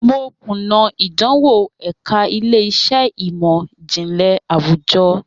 Mo kuna idanwo ẹka ile-iṣẹ imọ-jinlẹ awujọ.